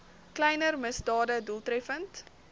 kleiner misdade doeltreffend